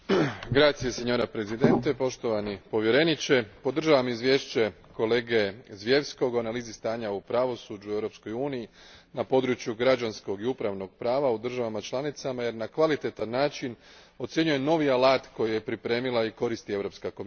Gospođo predsjednice, poštovani povjereniče, podržavam izvješće kolege Zwiefke o analizi stanja u pravosuđu u Europskoj uniji na području građanskog i upravnog prava u državama članicama jer na kvalitetan način ocjenjuje novi alat koji je pripremila i koristi Europska komisija.